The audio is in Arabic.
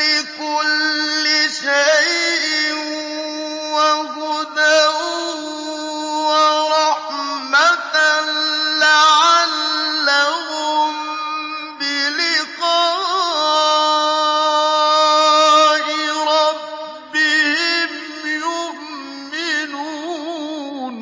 لِّكُلِّ شَيْءٍ وَهُدًى وَرَحْمَةً لَّعَلَّهُم بِلِقَاءِ رَبِّهِمْ يُؤْمِنُونَ